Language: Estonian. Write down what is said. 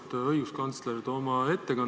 Auväärt õiguskantsler!